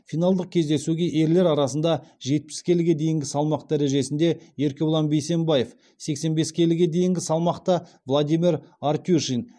финалдық кездесуге ерлер арасында жетпіс келіге дейінгі салмақ дәрежесінде еркебұлан бейсембаев сексен бес келіге дейінгі салмақта владимир артюшин